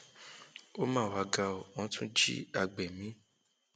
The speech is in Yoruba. ó mà wàá ga ọ wọn tún jí àgbẹ mi